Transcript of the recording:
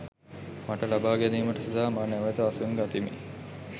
මට ලබා ගැනීමට සිතා මා නැවත අසුන් ගතිමි.